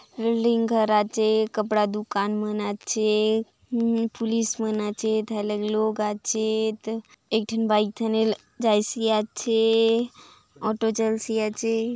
लिंग कराचे कपड़ा दुकान मन आचे पुलिस मन आचे ध लग लोग आचे त एक ठन बाइक थाने जायसी आचे ऑटो चलसि आचे।